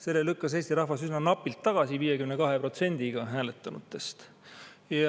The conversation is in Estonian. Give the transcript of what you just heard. Selle lükkas Eesti rahvas üsna napilt tagasi, 52%‑ga hääletanutest.